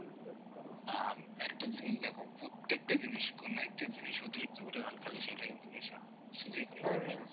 না একটা জিনিস দেখো প্রত্যেকটা জিনিস কোন একটা জিনিস অতিরিক্ত পরিমাণ খেলে সেটা কিন্তু নেশা হয়